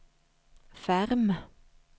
Ferm